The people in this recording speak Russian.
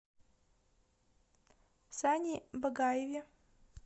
сане багаеве